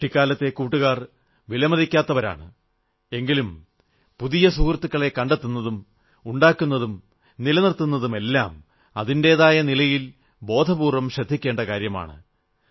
കുട്ടികാലത്തെ കൂട്ടുകാർ വലിമതിക്കാത്തവരാണ് എങ്കിലും പുതിയ സുഹൃത്തുക്കളെ കണ്ടെത്തുന്നതും ഉണ്ടാക്കുന്നതും നിലനിർത്തുന്നതുമെല്ലാം അതിന്റേതായ രീതിയിൽ ബോധപൂർവ്വം ശ്രദ്ധിക്കേണ്ട കാര്യമാണ്